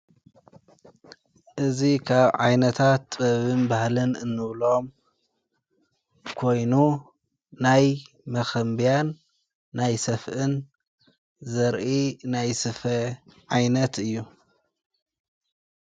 እዙ ካብ ዓይነታት ጥበብም ባህልን እንብሎም ኮይኑ ናይ መኸንብያን ናይ ሰፍእን ዘርኢ ናይ ስፈ ዓይነት እዩ።